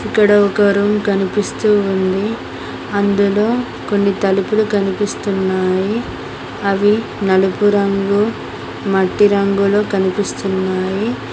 ఇక్కడ ఒక రూమ్ కనిపిస్తూ ఉంది అందులో కొన్ని తలుపులు కనిపిస్తున్నాయి అవి నలుపు రంగు మట్టి రంగులో కనిపిస్తున్నాయి.